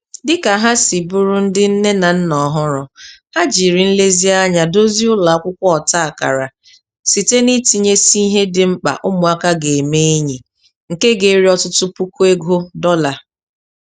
Dị ka ha si bụrụ ndị nne na nna ọhụrụ, ha jiri nlezianya dozie ụlọ akwụkwọ ọta akara site n'itinyesị ihe dị mkpa ụmụaka ga-eme enyi, nke ga-eri ọtụtụ puku ego dọla.